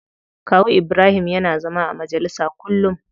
Kawu Ibrahim yana zama a majalisa kullum.